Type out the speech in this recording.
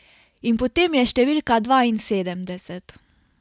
In potem je številka dvainsedemdeset.